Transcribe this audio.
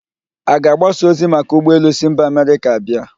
A ga-agbasa ozi maka ụgbọ elu si mba Amerịka abịa?